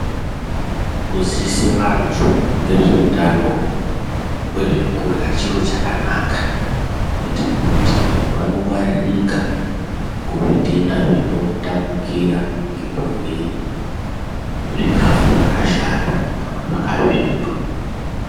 Kuziise vantu ngezveutano hwezvekurya chiro chakanaka kuite kuti vanhu vanongwaririka kuzvitenda zvinotapukira ngekurye zvikafu zvakashata kana kuti zvakasvipa.